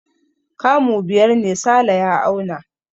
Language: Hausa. Kamu biyar ne Sale ya auna.